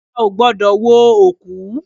Ọba ò gbọ́dọ̀ wo òkú